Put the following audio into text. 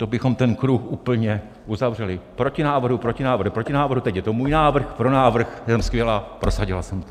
To bychom ten kruh úplně uzavřeli: proti návrhu, proti návrhu, proti návrhu - teď je to můj návrh: pro návrh, jsem skvělá, prosadila jsem to.